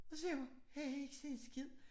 Og så sagde jeg bare jeg kan ikke se en skid